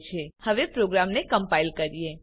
ચાલો હવે પ્રોગ્રામને કમ્પાઈલ કરીએ